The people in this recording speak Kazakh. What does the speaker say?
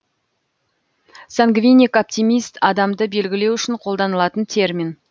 сангвиник оптимист адамды белгілеу үшін қолданылатын термин